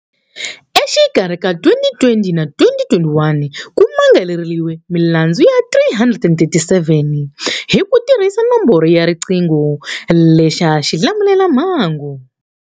Exikarhi ka 2020 na 2021 ku mangariwile milandzu ya 337 hi ku tirhisa nomboro ya riqingho lexa xilamulelamhangu.